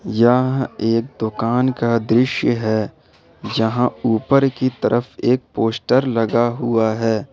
यह एक दुकान का दृश्य है जहा ऊपर की तरफ एक पोस्टर लगा हुआ है।